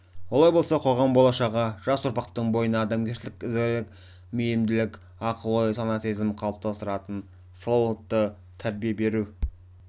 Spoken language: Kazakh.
олай болса қоғам болашағы жас ұрпақтың бойына адамгершілік ізгілік мейірімділік ақыл ой сана сезім қалыптастыратын салауатты тәрбие беру